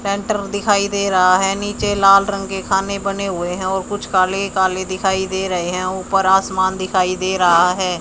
Centre दिखाई दे रहा है नीचे लाल रंग के खाने बने हुए है और कुछ काले काले दिखाई दे रहे है ऊपर आसमान दिखाई दे रहा है।